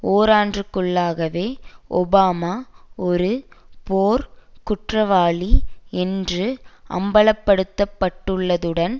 ஓராண்டிற்குள்ளாகவே Obama ஒரு போர்க் குற்றவாளி என்று அம்பலப்படுத்தப்பட்டுள்ளதுடன்